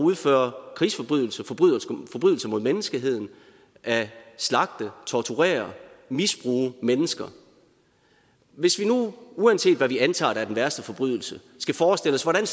udføre krigsforbrydelser forbrydelser mod menneskeheden at slagte torturere misbruge mennesker hvis vi nu uanset hvad vi antager der er den værste forbrydelse skal forestille os hvordan